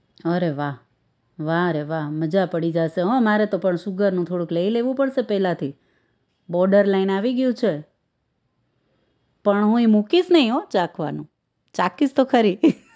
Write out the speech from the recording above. અરે વાહ વાહ રે વાહ મજા પડી જાશે હો મારે તો પણ શુગર નું થોડુંક લઇ લેવું પડશે પેલાથી border line આવી ગયું છે પણ હુંય મુકીશ નહી હો ચાખવાનું ચાખીશ તો ખરી